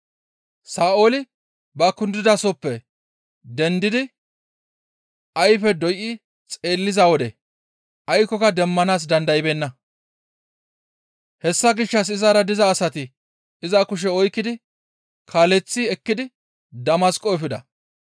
Sa7ooli ba kundidasohoppe dendidi ayfe doyi xeelliza wode aykkoka demmanaas dandaybeenna; hessa gishshas izara diza asati iza kushe oykkidi kaaleththi ekkidi Damasqo efida.